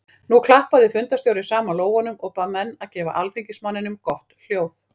Nú klappaði fundarstjóri saman lófunum og bað menn að gefa alþingismanninum gott hljóð.